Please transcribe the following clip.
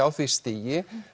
á því stigi